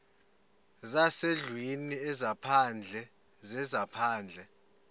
zezasendlwini ezaphandle zezaphandle